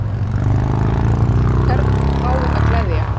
Jóhanna Margrét: Hvern á að gleðja?